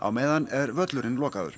meðan er völlurinn lokaður